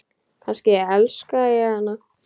Kannski elska ég hana?